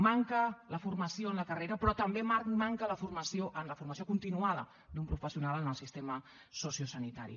manca la formació en la carrera però també manca la formació en la formació continuada d’un professional en el sistema sociosanitari